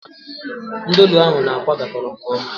Nudulu ahu na-akwa gakoro nke oma